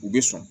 U bɛ sɔn